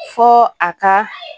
Fɔ a ka